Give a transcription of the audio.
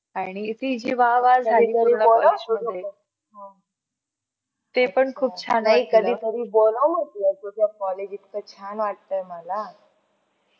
नाही कधीतरी बोलाव म्हटल तुझ्या college इतका छान वाटतंय मला.